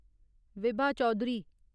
Bibha Chaudhuri